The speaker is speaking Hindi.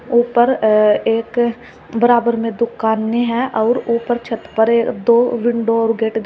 ऊपर अ एक बराबर में दुकानें हैं और ऊपर छत ए पर दो विंडो और गेट --